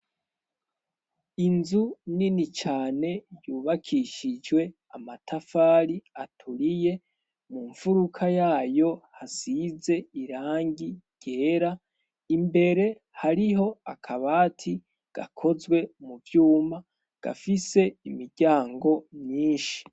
Inzu nini cane, yubakishijwe amatafari aturiye, mu mfuruka yayo hasize irangi ryera, imbere hariho akabati gakozwe mu vyuma, gafise imiryango myinshi.